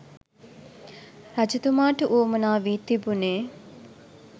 රජතුමාට වුවමනා වී තිබුණේ